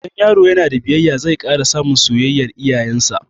Idan yaro ya na da biyayya, zai ƙara samun soyayyar iyayen sa